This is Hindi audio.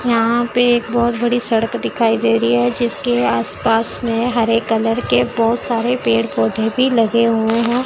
यहां पे एक बहोत बड़ी सड़क दिखाई दे रही है जीसके आस पास में हरे कलर के बहोत सारे पेड़ पौधे भी लगे हुए हैं।